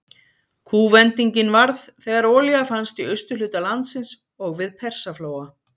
Kúvendingin varð þegar olía fannst í austurhluta landsins og við Persaflóa.